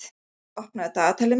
Janus, opnaðu dagatalið mitt.